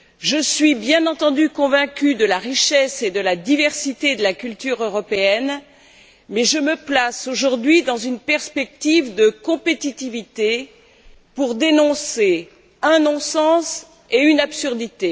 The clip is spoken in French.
Je suis bien entendu convaincue de la richesse et de la diversité de la culture européenne, mais je me place aujourd'hui dans une perspective de compétitivité pour dénoncer un non sens et une absurdité.